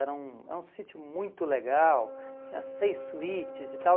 Era um é um sítio muito legal, tinha seis suítes e tal.